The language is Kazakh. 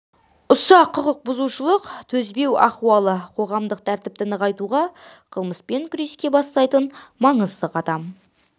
ұсақ құқық бұзушылыққа төзбеу ахуалы қоғамдық тәртіпті нығайтуға қылмыспен күреске бастайтын маңызды қадам